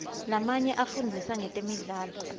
lamanye afundzisa ngetemidlalo